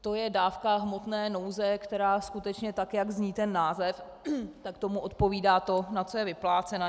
To je dávka hmotné nouze, která skutečně, tak jak zní ten název, tak tomu odpovídá to, na co je vyplácena.